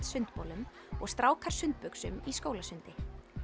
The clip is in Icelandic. sundbolum og strákar í skólasundi